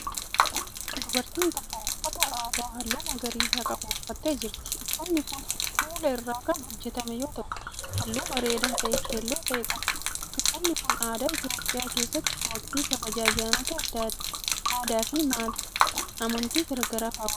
Dubartiin tokko, uffata aadaa haalluu magariisa qabu uffattee jirti. Uffanni kun kuula irraa kan hojjatame yoo ta'u, haalluu bareedaa ta'e keelloo ta'e qaba. Uffanni kun, aadaa Itoophiyaa keessatti waqtii kabaja ayyaanota aadaa fi amantii garaa garaa kaawwatamu.